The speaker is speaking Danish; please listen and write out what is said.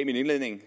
i min indledning